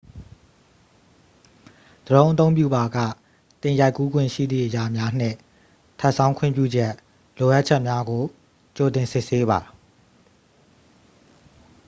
ဒရုန်းအသုံးပြုပါက သင်ရိုက်ကူးခွင့်ရှိသည့် အရာများနှင့် ထပ်ဆောင်း ခွင့်ပြုချက် လိုအပ်ချက်များကို ကြိုတင်စစ်ဆေးပါ